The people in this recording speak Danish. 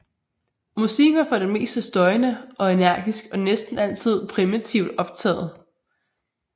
Musikken var for det meste støjende og energisk og næsten altid primitivt optaget